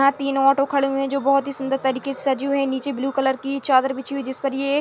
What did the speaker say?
यहाँ तीन ऑटो खड़े हुए है जो बहुत ही सुंदर तरीके से सजे हुए है नीचे ब्लू कलर की चादर बिछी हुई है जिस पर ये --